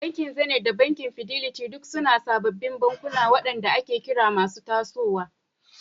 Bankin Zenith da banki Fidelity duk suna sababbin bankuna waɗanda ake kira masu tasowa.